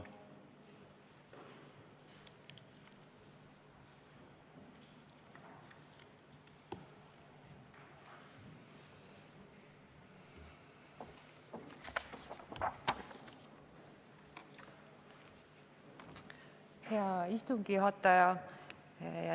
Hea istungi juhataja!